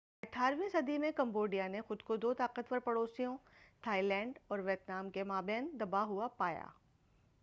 اٹھارہویں 18 صدی میں کمبوڈیا نے خود کو دو طاقتور پڑوسیوں تھائی لینڈ اور ویتنام کے مابین دبا ہوا پایا۔